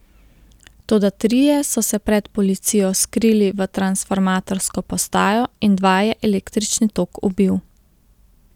Toda trije so se pred policijo skrili v transformatorsko postajo in dva je električni tok ubil.